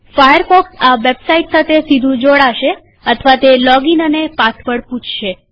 Firefox આ website સાથે સીધું જોડાશે અથવા તે લોગીન અને પાસવર્ડ પૂછશે